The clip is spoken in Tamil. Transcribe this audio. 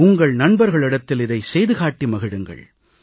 உங்கள் நண்பர்களிடத்தில் இதைச் செய்து காட்டி மகிழுங்கள்